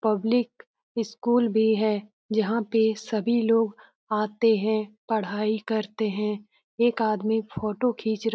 public school भी है जहां पे सभी लोग आते हैं पढ़ाई करते हैं एक आदमी फ़ोटो खिच र --